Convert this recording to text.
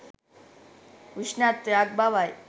උෂ්ණත්වයක් බවයි